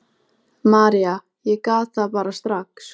Þetta kom bara allt af sjálfu sér.